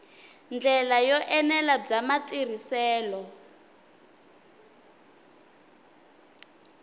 ndlela yo enela bya matirhiselo